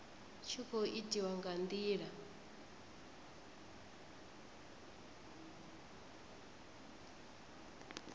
tshi khou itiwa nga ndila